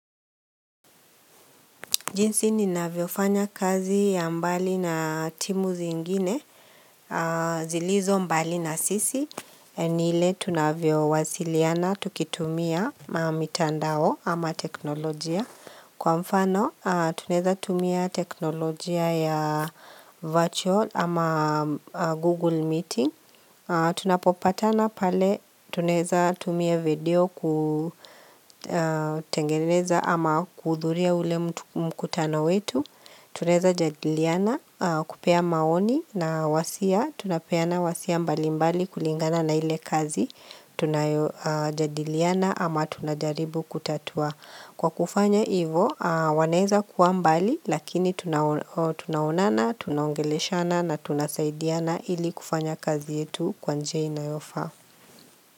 Jinsi ninavyofanya kazi ya mbali na timu zingine zilizo mbali na sisi ni ile tunavyowasiliana tukitumia mitandao ama teknolojia. Kwa mfano tunaeza tumia teknolojia ya virtual ama google meeting. Tunapopatana pale tunaeza tumia video kutengeneza ama kuhudhuria ule mkutano wetu Tunaeza jadiliana kupea maoni na wosia tunapeana wosia mbali mbali kulingana na ile kazi Tunajadiliana ama tunajaribu kutatua Kwa kufanya ivo wanaeza kuwa mbali Lakini tunaonana, tunaongeleshana na tunasaidiana ili kufanya kazi yetu kwa njia inayofa.